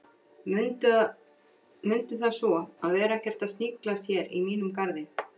Mundu það svo að vera ekkert að sniglast hér í mínum garði